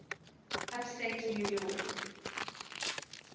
upstate new york